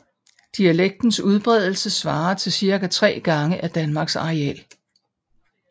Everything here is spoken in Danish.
Dialektens udbredelse svarer til cirka 3 gange af Danmarks areal